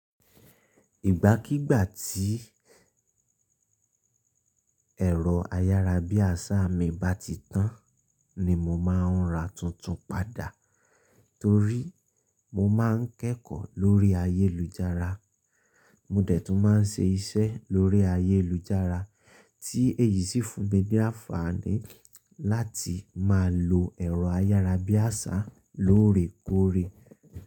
Ìgbàkígbà tí ẹ̀rọ ayára bí àṣá mi bá ti tán ni mo máa ń ra tuntun padà torí mo máa ń kẹ́kọ̀ọ́ lórí ayélujára. Mò dẹ̀ tún máa ń ṣe iṣẹ́ lórí ayélujára tí èyí sì fún mi ní àǹfààní láti máa lo ẹ̀rọ ayára bí àṣá lóòrèkóòrè.